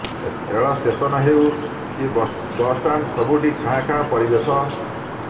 ରେଳ ଷ୍ଟେସନ ହେଉ କି ବସ୍ଷ୍ଟାଣ୍ଡ ସବୁଠି ଖାଁ ଖାଁ ପରିବେଶ